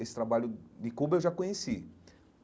Esse trabalho de Cuba eu já conheci.